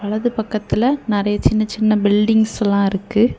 அது பக்கத்துல நறைய சின்ன சின்ன பில்டிங்ஸ் எல்லாம் இருக்கு.